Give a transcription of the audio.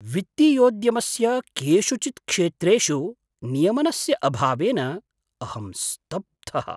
वित्तीयोद्यमस्य केषुचित् क्षेत्रेषु नियमनस्य अभावेन अहं स्तब्धः।